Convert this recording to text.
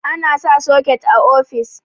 ana sa soket a ofis